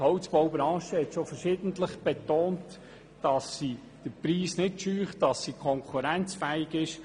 Die Holzbaubranche hat schon verschiedentlich betont, dass sie den Preis nicht scheut und konkurrenzfähig ist.